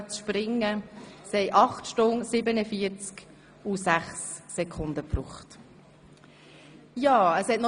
Sie benötigten 8 Stunden, 47 Minuten und 6 Sekunden.